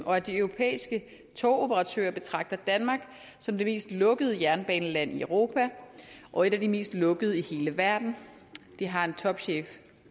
og at de europæiske togoperatører betragter danmark som det mest lukkede jernbaneland i europa og et af de mest lukkede i hele verden det har en topchef